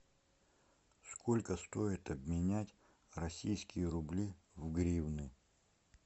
сколько стоит обменять российские рубли в гривны